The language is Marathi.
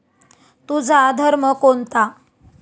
तुझा धर्म कोणता?